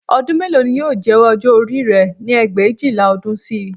Ọdún mélòó ni yóò jẹ́ ọjọ́ orí rẹ ní ẹgbẹ̀éjìlá ọdún sí i